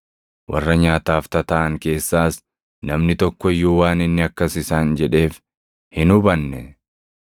Warra nyaataaf tataaʼan keessaas namni tokko iyyuu waan inni akkas isaan jedheef hin hubanne.